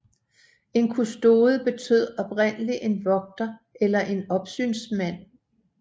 En kustode betød oprindelig en vogter eller en opsynsmand